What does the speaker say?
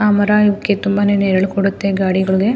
ಆಹ್ಹ್ ಮರ ಇವುಕ್ಕೆ ತುಂಬಾನೇ ನೆರಳು ಕೊಡುತ್ತೆ ಗಡಿಗಳುಗೆ.